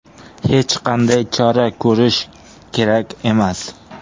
Hech qanday chora ko‘rish kerak emas”.